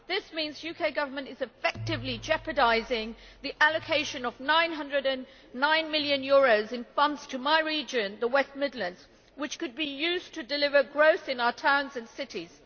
This means that the UK Government is effectively jeopardising the allocation of EUR 909 million in funds to my region, the West Midlands, which could be used to deliver growth in our towns and cities.